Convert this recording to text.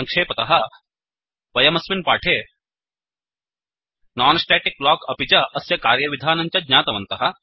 सङ्क्षेपतः वयमस्मिन् पाठे non static block अपि च अस्य कार्यविधानं च ज्ञातवन्तः